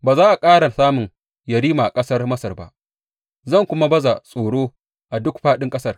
Ba za a ƙara samun yerima a ƙasar Masar ba, zan kuma baza tsoro a duk fāɗin ƙasar.